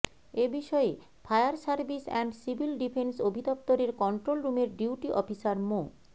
এ বিষয়ে fire service and civil defence অধিদফতরের control রুমের ডিউটি অফিসার মো